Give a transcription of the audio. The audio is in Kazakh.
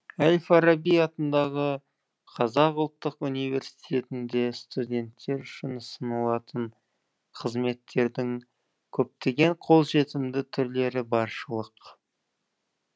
әл фараби атындағы қазақ ұлттық университетінде студенттер үшін ұсынылатын қызметтердің көптеген қолжетімді түрлері баршылық